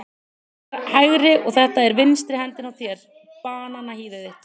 Þetta er hægri og þetta er vinstri hendin á þér, bananahýðið þitt.